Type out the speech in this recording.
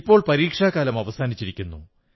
ഇപ്പോൾ പരീക്ഷക്കാലം അവസാനിച്ചിരിക്കുന്നു